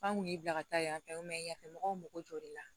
F'an kun y'i bila ka taa yanfɛ yafɛmɔgɔw mago jɔ la